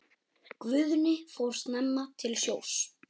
Guðni fór snemma til sjós.